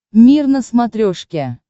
мир на смотрешке